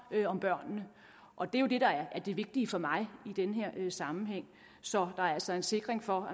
om børnene og det er jo det der er det vigtige for mig i den her sammenhæng så der altså er sikkerhed for